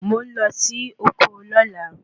Mo ń lọ sí oko lóla